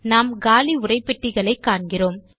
நாம் காலி உரைப்பெட்டிகளை காண்கிறோம்